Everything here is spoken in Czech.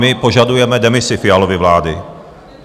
My požadujeme demisi Fialovy vlády.